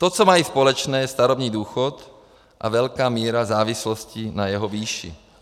To, co mají společné, je starobní důchod a velká míra závislosti na jeho výši.